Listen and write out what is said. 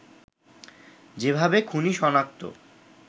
যেভাবে খুনি সনাক্ত